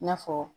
I n'a fɔ